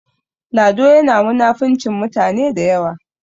Lado yana munafincin mutane da yawa